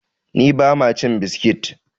ni ba ma cin biskit!